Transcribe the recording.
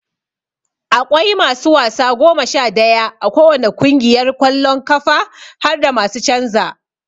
Aƙwai masu wasa goma Sha daya a ko wani kungiyar kwallon kafa harda masu canza.